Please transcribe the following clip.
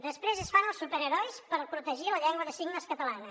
després es fan els superherois per protegir la llengua de signes catalana